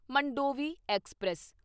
Mandovi express